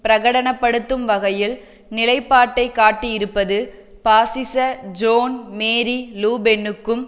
பிரகடனப்படுத்தும் வகையில் நிலைப்பாட்டை காட்டியிருப்பது பாசிச ஜோன் மேரி லூபென்னுக்கும்